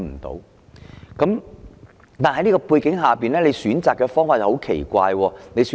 在這樣的背景之下，當局選擇的方法是很奇怪的。